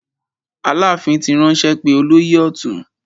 Aláàfin ti ránṣẹ́ pé olóyè ọ̀tún.